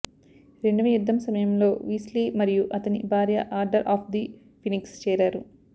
రెండవ యుద్ధం సమయంలో వీస్లీ మరియు అతని భార్య ఆర్డర్ ఆఫ్ ది ఫినిక్స్ చేరారు